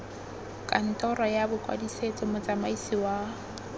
kantoro ya bokwadisetso motsamaisi wa